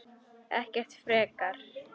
Ekkert frekar.